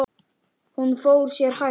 Hún fór sér hægt.